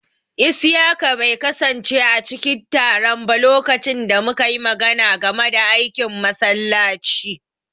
Isiyaka bai kasance a cikin taron ba lokacin da muka yi magana game da aikin masallaci.